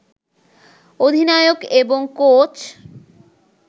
অধিনায়ক এবং কোচ